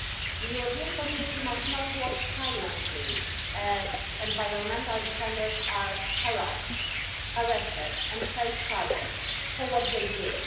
The European Community must not watch silently as environmental defenders are harassed, arrested and face charges for what they do.